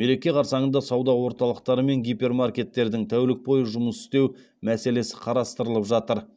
мереке қарсаңында сауда орталықтары мен гипермаркеттердің тәулік бойы жұмыс істеу мәселесі қарастырылып жатыр